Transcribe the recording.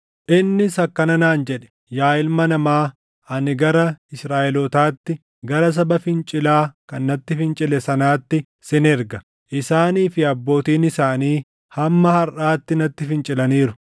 Innis akkana naan jedhe: “Yaa ilma namaa, ani gara Israaʼelootaatti, gara saba fincilaa kan natti fincile sanaatti sin erga; isaanii fi abbootiin isaanii hamma harʼaatti natti fincilaniiru.